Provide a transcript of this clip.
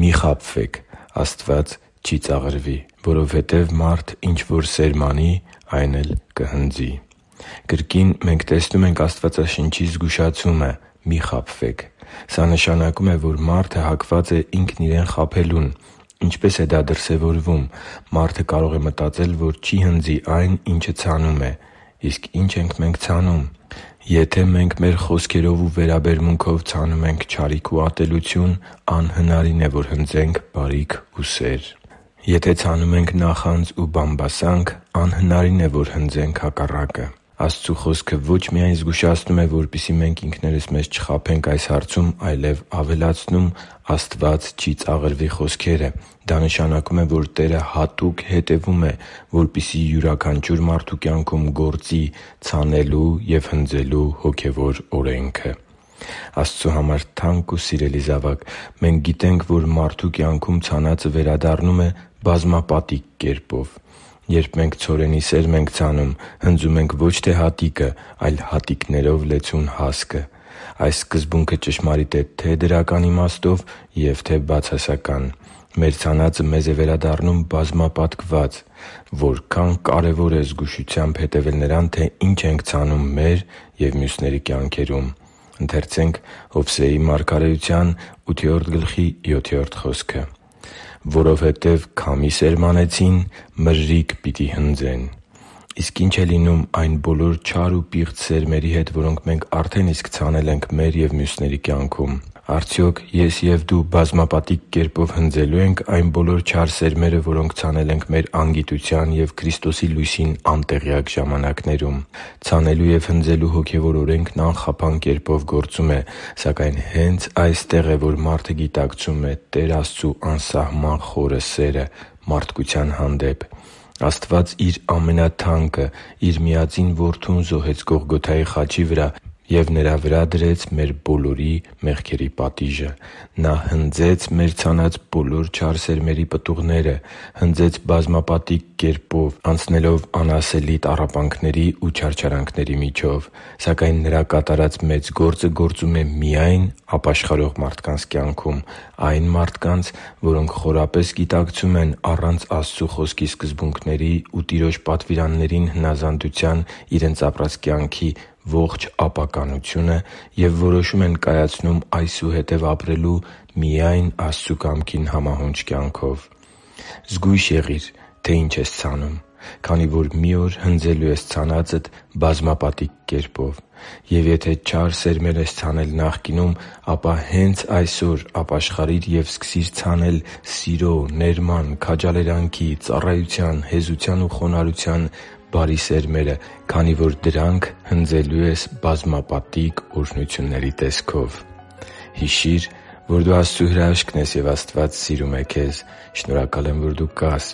«Մի՛ խաբվեք. Աստված չի ծաղրվի։ Որովհետև մարդ ինչ որ սերմանի, այն էլ կհնձի» (Գաղատացիս 6.7): Կրկին մենք տեսնում ենք Աստվածաշնչի զգուշացումը՝ «Մի՛ խաբվեք.․․»։ Սա նշանակում է, որ մարդը հակված է ինքն իրեն խաբելուն։ Ինչպե՞ս է դա դրսևորվում։ Մարդը կարող է մտածել, որ չի հնձի այն, ինչը ցանում է։ Իսկ ի՞նչ ենք մենք ցանում։ Եթե մենք մեր խոսքերով ու վերաբերմունքով ցանում ենք չարիք ու ատելություն, անհնարին է, որ հնձենք բարիք ու սեր։ Եթե ցանում ենք նախանձ ու բամբասանք, անհնարին է, որ հնձենք հակառակը։ Աստծու Խոսքը ո՛չ միայն զգուշացնում է, որպեսզի մենք ինքներս մեզ չխաբենք այս հարցում, այլև ավելացնում «Աստված չի ծաղրվի» խոսքերը։ Դա նշանակում է, որ Տերը հատուկ հետևում է, որպեսզի յուրաքանչյուր մարդու կյանքում գործի ցանելու և հնձելու հոգևոր օրենքը։ Աստծու համար թանկ ու սիրելի՛ զավակ, մենք գիտենք, որ մարդու կյանքում ցանածը վերադառնում է բազմապատիկ կերպով։ Երբ մենք ցորենի սերմ ենք ցանում, հնձում ենք ոչ թե հատիկը, այլ հատիկներով լեցուն հասկը։ Այս սկզբունքը ճշմարիտ է թե՛ դրական իմաստով և թե՛ բացասական։ Մեր ցանածը մեզ է վերադառնում բազմապատկված։ Որքա՜ն կարևոր է զգուշությամբ հետևել նրան, թե ի՛նչ ենք ցանում մեր և մյուսների կյանքերում։ «Որովհետև քամի սերմանեցին, մրրիկ պիտի հնձեն․․․» (Ովսեե 8․7): Իսկ ի՞նչ է լինում այն բոլոր չար ու պիղծ սերմերի հետ, որոնք մենք արդեն իսկ ցանել ենք մեր և մյուսների կյանքում։ Արդյոք ես և դու բազմապատիկ կերպով հնձելո՞ւ ենք այն բոլոր չար սերմերը, որոնք ցանել ենք մեր անգիտության և Քրիստոսի լույսին անտեղյակ ժամանակներում։ Ցանելու և հնձելու հոգևոր օրենքն անխափան կերպով գործում է։ Սակայն հե՛նց այստեղ է, որ մարդը գիտակցում է Տեր Աստծու անսահման խորը սերը մարդկության հանդեպ։ Աստված Իր ամենաթանկը՝ Իր Միածին Որդուն զոհեց Գողգոթայի խաչի վրա և Նրա վրա դրեց մեր բոլորի մեղքերի պատիժը։ Նա հնձեց մեր ցանած բոլոր չար սերմերի պտուղները։ Հնձեց բազմապատիկ կերպով՝ անցնելով անասելի տառապանքների ու չարչարանքների միջով։ Սակայն Նրա կատարած մեծ զոհը գործում է միայն ապաշխարող մարդկանց կյանքում՝ այն մարդկանց, որոնք խորապես գիտակցում են առանց Աստծու Խոսքի սկզբունքների ու Տիրոջ պատվիրաններին հնազանդության իրենց ապրած կյանքի ողջ ապականությունը և որոշում կայացնում այսուհետև ապրելու միայն Աստծու կամքին համահունչ կյանքով։ Զգույշ եղի՛ր, թե ինչ ես ցանում, քանի որ մի օր հնձելու ես ցանածդ բազմապատիկ կերպով։ Եվ եթե չար սերմեր ես ցանել նախկինում, ապա հե՛նց այսօր ապաշխարի՛ր և սկսի՛ր ցանել սիրո, ներման, քաջալերանքի, ծառայության, հեզության ու խոնարհության բարի սերմեր, քանի որ դրանք էլ հնձելու ես բազմապատիկ օրհնությունների տեսքով։ Հիշի՛ր, որ դու Աստծո հրաշքն ես, և Աստված սիրում է քեզ։ Շնորհակալ եմ, որ դու կա՛ս